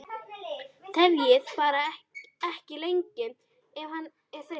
Tefjið bara ekki lengi ef hann er þreyttur